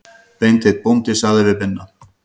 Beinteinn bóndi sagði við Binna